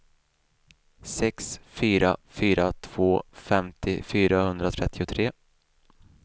sex fyra fyra två femtio fyrahundratrettiotre